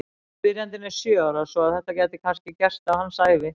Spyrjandinn er sjö ára svo að þetta gæti kannski gerst á hans ævi!